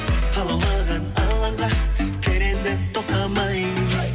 алаулаған алаңға пер енді тоқтамай